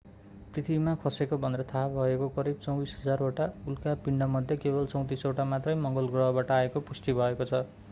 पृथ्वीमा खसेको भनेर थाहा भएका करिब 24,000 वटा उल्का पिण्डमध्ये केवल 34 वटा मात्रै मंगल ग्रहबाट आएको पुष्टि भएको छ